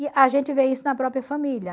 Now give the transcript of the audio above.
E a gente vê isso na própria família.